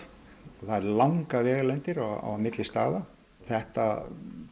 og það eru langar vegalengdir á milli staða þetta